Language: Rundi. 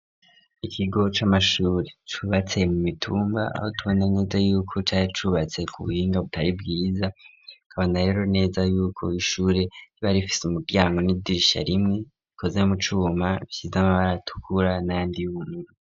Ikigo c'amashure cubatse mu mitumba aho tubonaneze yuko cay acubatse ku buhinga butari bwiza kaba na rero neza yuko ishure ntibarifise umuryango n'idirisha rimwe ikoze mu cuma vyiza mabaratukura nandi yumwe.